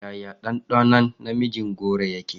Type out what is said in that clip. Yaya danɗɗanon na mijin goro yake?